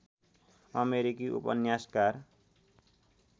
अमेरिकी उपन्यासकार